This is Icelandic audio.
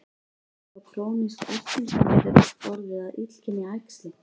Verður þá krónísk erting sem getur orðið að illkynja æxli.